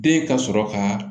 Den ka sɔrɔ ka